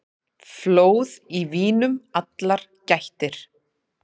Flóð í vínum allar gættir.